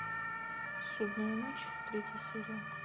судная ночь третья серия